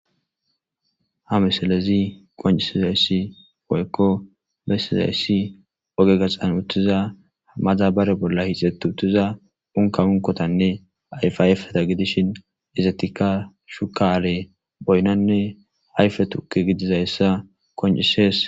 Ha misilezi qoncisizayssi woykko bessizayssi oge gaxan uttiza madabara bolla hixxeti uttiza unkka unkotanne ayfa ayfeta gidishin izetikka sukaare, boynanne ayfe tukke gidizaysa qoncises.